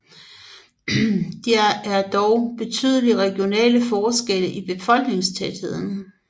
Der er dog betydelige regionale forskelle i befolkningstætheden